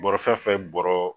Bɔrɔ fɛn fɛn bɔrɔ